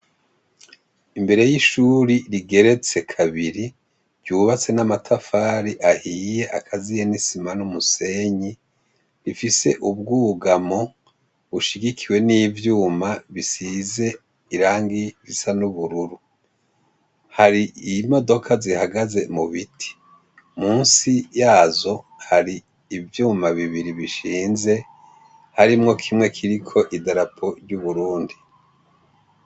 Imbere y'ishuri, rigeretse kabiri ryubatse n'amatafari ahiye akaziye n'isima n'umusenyi rifise ubwugamo bushigikiwe n'ivyuma, bisize irangi risa n'ubururu hari iyi modoka zihagaze mu biti musi yazo hari ivyuma bibiri bishinze harimwo kimwe kiriko idarapo ry'uburundi.